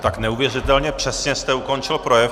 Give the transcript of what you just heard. Tak neuvěřitelně přesně jste ukončil projev.